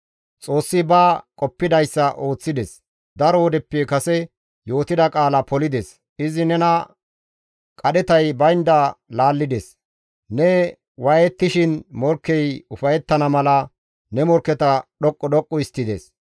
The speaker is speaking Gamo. Xoossi ba qoppidayssa ooththides; daro wodeppe kase yootida qaala polides; izi nena qadhetay baynda laallides; ne waayettishin morkkey ufayettana mala ne morkketa dhoqqu dhoqqu histtides.